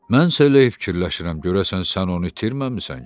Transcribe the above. Mən isə elə fikirləşirəm, görəsən sən onu itirməmisən ki?